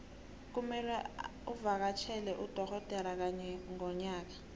kumelwe uvakatjhele udogodera kanye ngonyaka